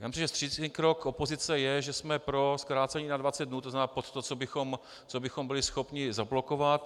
Já myslím, že vstřícný krok opozice je, že jsme pro zkrácení na 20 dnů, to znamená pod to, co bychom byli schopni zablokovat.